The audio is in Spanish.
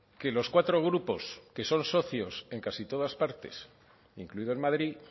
que los cuatro grupos que son socios en casi todas partes incluido en madrid